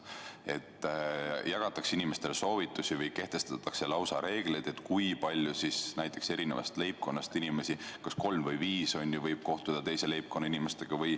Inimestele jagatakse soovitusi ja kehtestatakse lausa reegleid, kui palju igast leibkonnast inimesi – näiteks kas kolm või viis – võib kohtuda teise leibkonna inimestega.